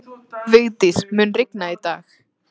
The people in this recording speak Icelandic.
Vigdís, mun rigna í dag?